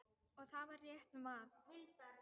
Og það var rétt mat.